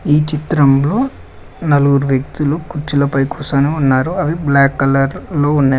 ఈ చిత్రంలో నలుగురు వ్యక్తులు కుర్చీలపై కుసోని ఉన్నారు అవి బ్లాక్ కలర్ లో ఉన్నాయి.